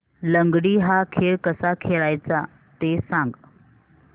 लंगडी हा खेळ कसा खेळाचा ते सांग